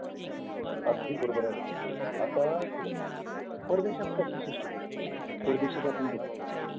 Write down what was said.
अगदी बरोबर आहे आता तुला संगतो परदेशात कशी system असते परदेशात आपण बघतो